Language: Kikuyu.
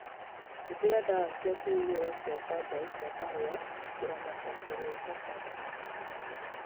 Hũthĩra dawa cia kũhuhira cia bangaĩ cia kahũa kũramata kũrota kwa mahuti